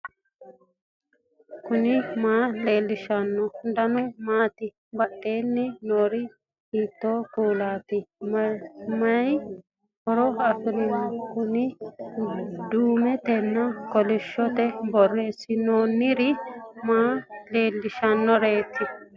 knuni maa leellishanno ? danano maati ? badheenni noori hiitto kuulaati ? mayi horo afirino ? kuni duumetenna kolishshotenni borreessinoonniri maa leellishshannoreti